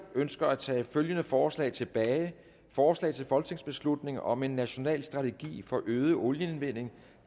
ønsker at tage følgende forslag tilbage forslag til folketingsbeslutning om en national strategi for øget olieindvinding